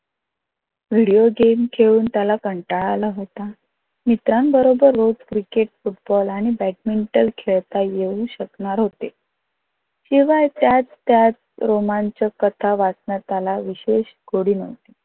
Video game खेळून त्याला कंटाळा आला होता. मित्रान बरोबर रोज क्रिकेट, फुटबॉल आणि बॅडमिंटन खेळता येऊ शकणार होते, केव्हा त्याच त्याच रोमचांक कथा वाचण्यात आला विषेय गोडी नव्हती.